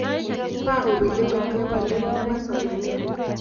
Bo' au pilimit nebolet nebo somanet